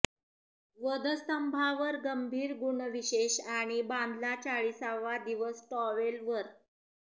वधस्तंभावर गंभीर गुणविशेष आणि बांधला चाळीसावा दिवस टॉवेल वर